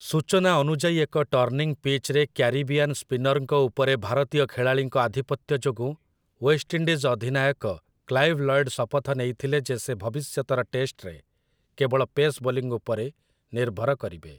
ସୂଚନା ଅନୁଯାୟୀ ଏକ ଟର୍ଣ୍ଣିଂ ପିଚ୍‌ରେ କ୍ୟାରିବିଆନ୍ ସ୍ପିନର୍‌ଙ୍କ ଉପରେ ଭାରତୀୟ ଖେଳାଳିଙ୍କ ଆଧିପତ୍ୟ ଯୋଗୁଁ ୱେଷ୍ଟ୍ ଇଣ୍ଡିଜ୍ ଅଧିନାୟକ କ୍ଲାଇଭ୍ ଲୟଡ୍ ଶପଥ ନେଇଥିଲେ ଯେ ସେ ଭବିଷ୍ୟତର ଟେଷ୍ଟରେ କେବଳ ପେସ୍ ବୋଲିଂ ଉପରେ ନିର୍ଭର କରିବେ ।